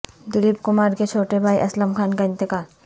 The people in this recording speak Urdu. دلیپ کمار کے چھوٹے بھائی اسلم خان کا انتقال